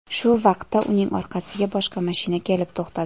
Shu vaqtda uning orqasiga boshqa mashina kelib to‘xtadi.